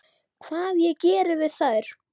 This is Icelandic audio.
Hvað ég geri við þær?